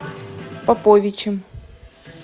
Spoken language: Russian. поповичем